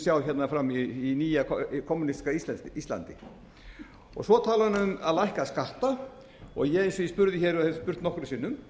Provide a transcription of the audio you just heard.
við munum sjá fram í hinu nýja kommúnistiska íslandi svo talaði hún um að lækka skatta og ég eins og ég spurði hér og hef spurt nokkrum sinnum